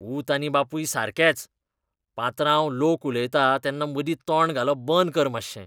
पूत आनी बापूय सारकेच. पात्रांव, लोक उलयता तेन्ना मदीं तोंड घालप बंद कर मात्शें.